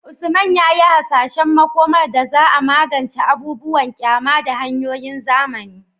Usman ya yi hasashen makomar da za a magance abubuwan ƙyama da hanyoyin zamani